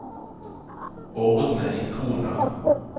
ordne ikoner